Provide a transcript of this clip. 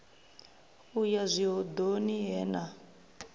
u ya zwihoḓoni he na